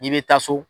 N'i bɛ taa so